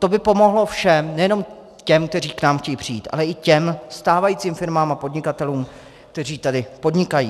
To by pomohlo všem, nejenom těm, kteří k nám chtějí přijít, ale i těm stávajícím firmám a podnikatelům, kteří tady podnikají.